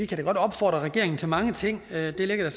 kan opfordre regeringen til mange ting der ligger